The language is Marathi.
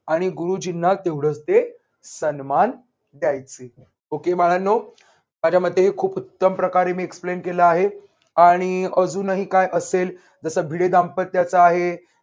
आणि गुरुजींना तेवढच ते सन्मान द्यायचे. okay बाळांनो, माझ्या मते हे खूप उत्तम प्रकारे मी explain केल आहे आणि अजूनही काय असेल जस भिडे दाम्पत्याचा आहे.